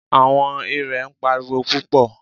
Àwọn irè ń pariwo púpọ̀.